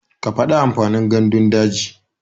Ka faɗi amfanin gandun daji.